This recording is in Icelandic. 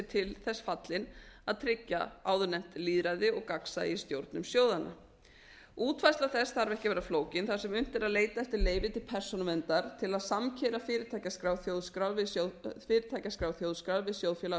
til þess fallin að tryggja áðurnefnt lýðræði og gagnsæi í stjórnum sjóðanna útfærsla þess þarf ekki að vera flókin þar sem unnt er að leita eftir leyfi til persónuverndar til að samkeyra fyrirtækjaskrá þjóðskrár við sjóðfélagaskrá svo að unnt